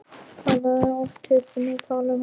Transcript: Hann hafði oft heyrt þær tala um þennan mann.